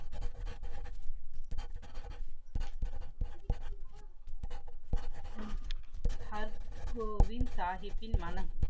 her Govind சாஹிபின் மனம்